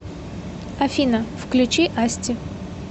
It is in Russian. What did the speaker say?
афина включи асти